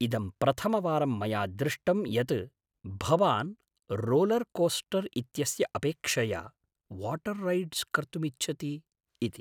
इदं प्रथमवारं मया दृष्टम् यत् भवान् रोलर्कोस्टर् इत्यस्य अपेक्षया वाटर् रैडस् कर्तुमिच्छति इति।